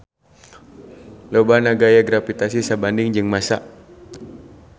Lobana gaya gravitasi sabanding jeung massa.